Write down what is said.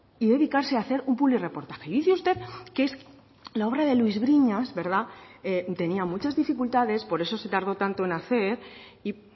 y dedicarse a hacer un publirreportaje y dice usted que es la obra de luís briñas verdad tenía muchas dificultades por eso se tardó tanto en hacer y